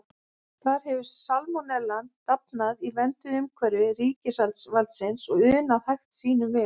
Þar hefur salmonellan dafnað í vernduðu umhverfi ríkisvaldsins og unað hag sínum vel.